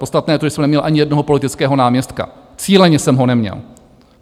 Podstatné je to, že jsem neměl ani jednoho politického náměstka, cíleně jsem ho neměl.